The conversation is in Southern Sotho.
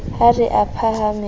ha re a phahame a